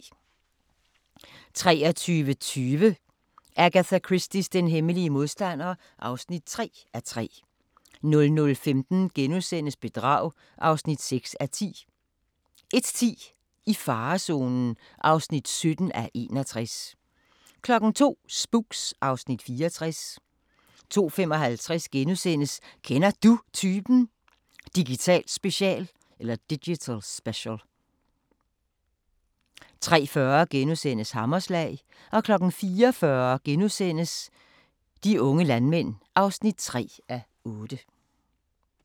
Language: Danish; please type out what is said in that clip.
23:20: Agatha Christies Den hemmelige modstander (3:3) 00:15: Bedrag (6:10)* 01:10: I farezonen (17:61) 02:00: Spooks (Afs. 64) 02:55: Kender Du Typen? – Digital Special * 03:40: Hammerslag * 04:40: De unge landmænd (3:8)*